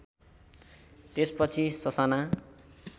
त्यसपछि ससाना